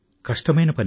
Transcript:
కష్టమైనా పనే